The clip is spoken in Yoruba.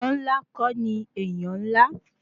Aṣọ ńlá kọ́ ni èèyàn ńlá